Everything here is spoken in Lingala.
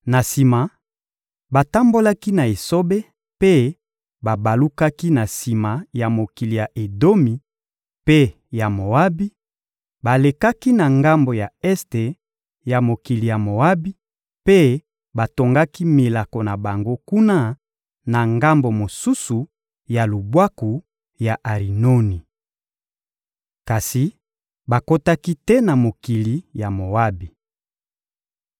Na sima, batambolaki na esobe mpe babalukaki na sima ya mokili ya Edomi mpe ya Moabi, balekaki na ngambo ya este ya mokili ya Moabi mpe batongaki milako na bango kuna, na ngambo mosusu ya lubwaku ya Arinoni. Kasi bakotaki te na mokili ya Moabi.